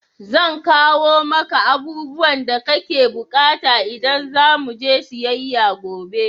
Zan kawo maka abubuwan da kake bukata idan za mu je siyayya gobe.